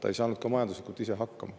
Ta ei saanud ka majanduslikult ise hakkama.